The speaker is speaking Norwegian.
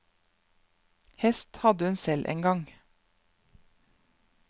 Hest hadde hun selv en gang.